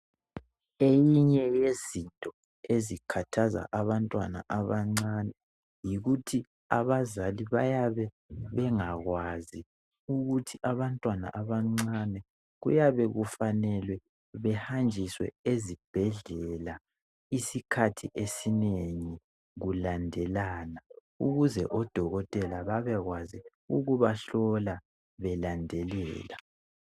Eyinye yezinto ezikhathaza abantwana abancane yikuthi abazali bayabe bengakwazi ukuthi abantwana abancane kuyabe kufanele behanjiswe ezibhedlela isikhathi esinengi kulandelana, ukuze odokotela babekwazi ukubahlola belandelela.